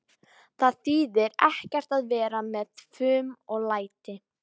Það þýðir ekkert að vera með fum og læti.